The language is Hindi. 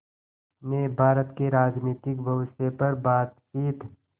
ने भारत के राजनीतिक भविष्य पर बातचीत